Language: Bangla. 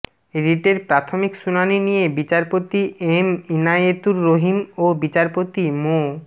রিটের প্রাথমিক শুনানি নিয়ে বিচারপতি এম ইনায়েতুর রহিম ও বিচারপতি মো